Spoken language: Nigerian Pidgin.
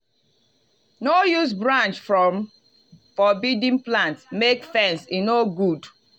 no use branch from forbidden plant make fence e no good.